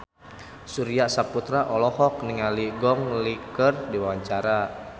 Surya Saputra olohok ningali Gong Li keur diwawancara